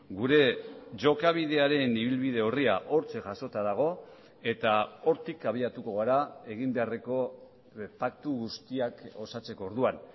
gure jokabidearen ibilbide orria hortxe jasota dago eta hortik abiatuko gara egin beharreko paktu guztiak osatzeko orduan